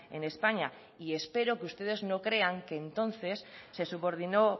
en españa y espero que ustedes no crean que entonces se subordinó